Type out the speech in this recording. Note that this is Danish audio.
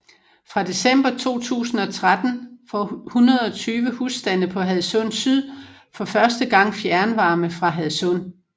Fra december 2013 får 120 husstande på Hadsund Syd for første gang fjernvarme fra Hadsund